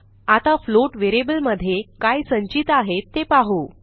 आता फ्लोट व्हेरिएबलमधे काय संचित आहे ते पाहू